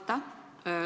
Aitäh!